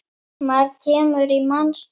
Maður kemur í manns stað.